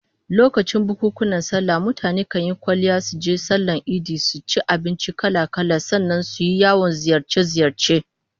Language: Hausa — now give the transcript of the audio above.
Lokacin bukunkunan sallah mutane kan yi kwalliya suje sallar idi, su ci abinci kala-kala, sannan su yi yawon ziyarce-ziyarce